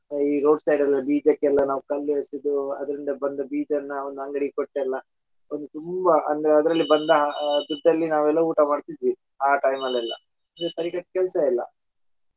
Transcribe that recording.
ಈ road side ಎಲ್ಲ ಬೀಜಕೆಲ್ಲಾ ನಾವ್ ಕಲ್ಲು ಎಸೆದು ಅದರಿಂದ ಬಂದ ಬೀಜನ್ನಾ ಅವನ ಅಂಗಡಿ ಕೊಟ್ಟೆಲ್ಲಾ ಒಂದು ತುಂಬಾ ಅಂದ್ರ ಅದರಲ್ಲಿ ಬಂದ ದುಡ್ಡಲ್ಲಿ ನಾವ ಊಟಾ ಮಾಡ್ತಿದ್ವಿ ಆ time ಅಲೆಲ್ಲಾ ಸರಿಕಟ್ ಕೆಲ್ಸ ಇಲ್ಲ .